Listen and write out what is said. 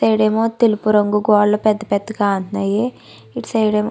తతెలుపు రంగు గోడలు పెద్ద పెద్ద ఉన్నాయి ఇటు సైడ్ ఏమో.